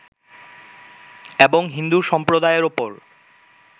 এবং হিন্দু সম্প্রদায়ের ওপর